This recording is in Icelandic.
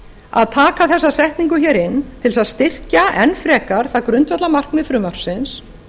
að taka þessa þekkingu inn til að styrkja enn frekar það grundvallarmarkmið frumvarpsins